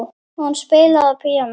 Hún spilaði á píanó.